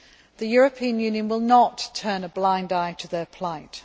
The European Union will not turn a blind eye to their plight.